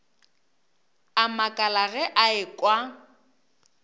a makala ge a ekwa